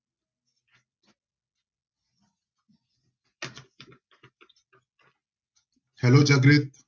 Hello